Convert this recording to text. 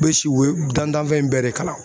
U bɛ si u ye dantanfɛn in bɛɛ de kalan.